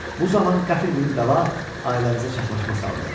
Bu zaman qəfil bir bəla ailəmizə çaxnaşma saldı.